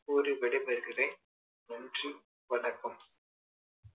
கூறிவிடை பெறுகிறேன் நன்றி வணக்கம்